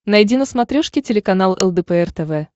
найди на смотрешке телеканал лдпр тв